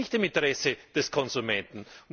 Das liegt nicht im Interesse des Konsumenten.